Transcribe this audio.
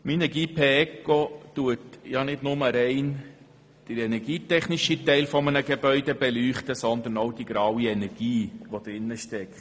Minergie-P-ECO beleuchtet nicht nur den energietechnischen Bereich eines Gebäudes sondern auch die graue Energie, die im Gebäude steckt.